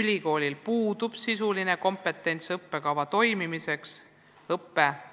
ülikoolil puudub sisuline kompetents õppekava toimimise tagamiseks.